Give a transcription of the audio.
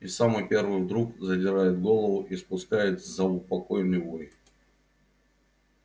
и самый первый вдруг задирает голову и спускает заупокойный вой